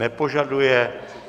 Nepožaduje.